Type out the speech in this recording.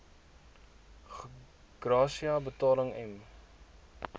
gratia betalings m